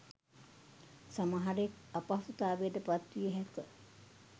සමහරෙක් අපහසුතාවයට පත් විය හෑක